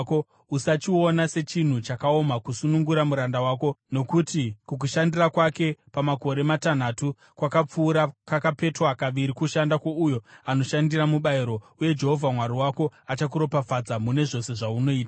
Usachiona sechinhu chakaoma kusunungura muranda wako, nokuti kukushandira kwake pamakore matanhatu kwakapfuura kakapetwa kaviri kushanda kwouyo anoshandira mubayiro. Uye Jehovha Mwari wako achakuropafadza mune zvose zvaunoita.